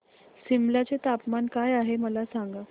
सिमला चे तापमान काय आहे मला सांगा